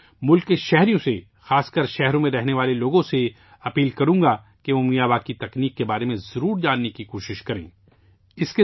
میں اہل وطن سے، خاص طور پر شہروں میں رہنے والوں سے گزارش کروں گا کہ وہ میاواکی کے طریقہ کار کے بارے میں جاننے کی کوشش کریں